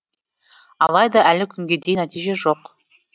алайда әлі күнге дейін нәтиже жоқ